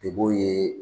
Deb'o ye